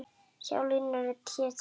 Sjá línurit hér til hliðar.